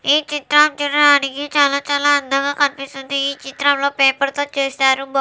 ఈ చిత్రం చూడడానికి చాలా చాలా అందంగా కనిపిస్తుంది. ఈ చిత్రంలో పేపర్ తో చేశారు.